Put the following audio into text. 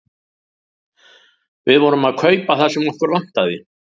Við vorum að kaupa það sem okkur vantaði.